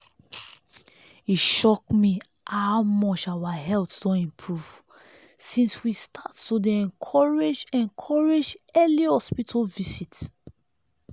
e shock me how much our health don improve since we start to dey encourage encourage early hospital visit.